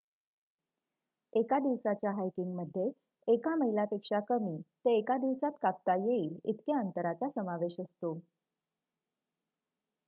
एका दिवसाच्या हायकिंगमध्ये एका मैलापेक्षा कमी ते एका दिवसात कापता येईल इतक्या अंतराचा समावेश असतो